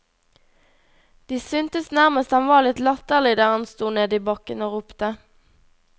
De syntes nærmest han var litt latterlig der han sto nede i bakken og ropte.